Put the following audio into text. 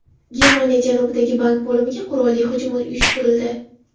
Germaniya janubidagi bank bo‘limiga qurolli hujum uyushtirildi.